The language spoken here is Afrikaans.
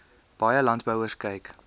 baie landbouers kyk